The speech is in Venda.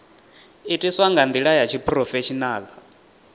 itiwa nga ndila ya tshiphurofeshinala